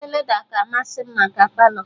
Oche leda ka amasị m maka Palọ